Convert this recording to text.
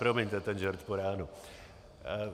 Promiňte ten žert po ránu.